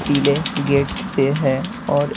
पीले गेट से है और--